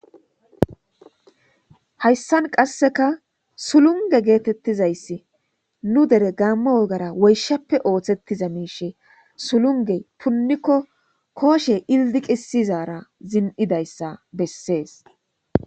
hayssan qasseka sulunge geetettizayssi nu dere gaamma wogara woyshappe ooththettiza miishe sulunge punnikko kooshe ildi qisizara zin'idayssa bessees.